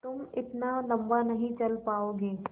तुम इतना लम्बा नहीं चल पाओगे